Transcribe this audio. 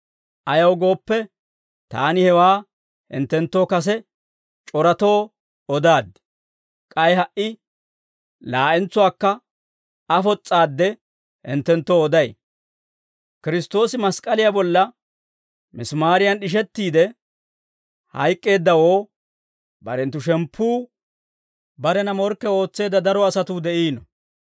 Ayaw gooppe, taani hewaa hinttenttoo kase c'oratoo odaaddi; k'ay ha"i laa'entsuwaakka afos's'aadde hinttenttoo oday; Kiristtoosi mask'k'aliyaa bolla misimaariyan d'ishettiide hayk'k'eeddawoo barenttu shemppuu barena morkke ootseedda daro asatuu de'iino.